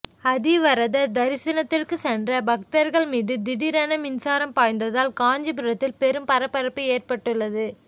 அத்திவரதர் தரிசனத்திற்கு சென்ற பக்தர்கள் மீது திடீரென மின்சாரம் பாய்ந்ததால் காஞ்சிபுரத்தில் பெரும் பரபரப்பு ஏற்பட்டுள்ளது